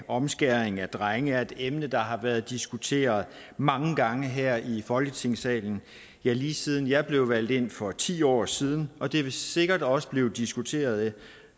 omskæring af drenge er et emne der har været diskuteret mange gange her i folketingssalen ja lige siden jeg blev valgt ind for ti år siden og det vil sikkert også blive diskuteret